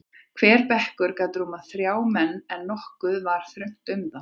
Hver bekkur gat rúmað þrjá menn, en nokkuð var þröngt um þá.